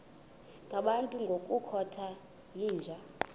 ngabantu ngokukhothana yinja